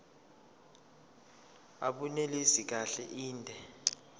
abunelisi kahle inde